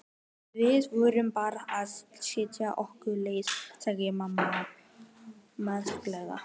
Við vorum bara að stytta okkur leið sagði amma mæðulega.